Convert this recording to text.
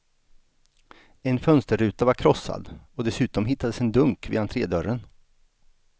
En fönsterruta var krossad och dessutom hittades en dunk vid entrédörren.